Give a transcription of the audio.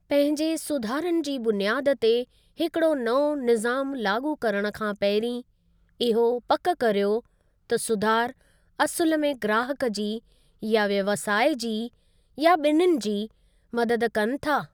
पंहिजे सुधारनि जी बुनियादु ते हिकड़ो नओं निज़ामु लाॻू करणु खां पहिंरीं, इहो पकि करियो त सुधार असुलु में ग्राहक जी या व्यवसाय जी, या बि॒निनि जी, मददु कनि था ।